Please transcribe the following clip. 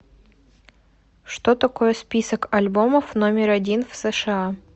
что такое список альбомов номер один в сша